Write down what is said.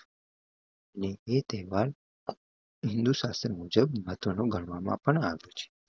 ને એ તહેવાર હિન્દુ સશત્ર મુજબ મહત્વનું ગણવામાં પણ આવ્યું છે